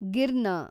ಗಿರ್ನ